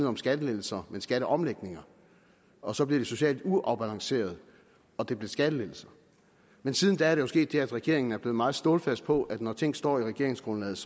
om skattelettelser men skatteomlægninger og så blev det socialt uafbalanceret og det blev skattelettelser men siden da er der jo sket det at regeringen er blevet meget stålsat på at når ting står i regeringsgrundlaget